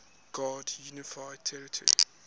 grand unified theory